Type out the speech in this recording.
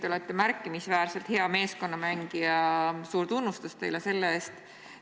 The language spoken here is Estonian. Te olete märkimisväärselt hea meeskonnamängija, suur tunnustus teile selle eest!